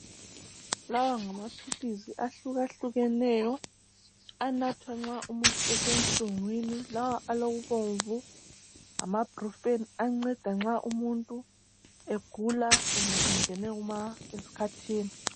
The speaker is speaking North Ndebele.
Lawa ngamaphilisi ahlukehlukeneyo, anathwa nxa umuntu esenhlungwini lawa abomvu ngama brufeni anceda nxa umuntu egula kumbe engine esikhathini.